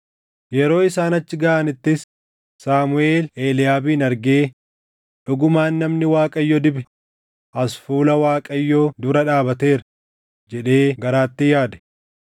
Yeroo isaan achi gaʼanittis Saamuʼeel Eliiyaabin argee, “Dhugumaan namni Waaqayyo dibe as fuula Waaqayyoo dura dhaabateera” jedhee garaatti yaade.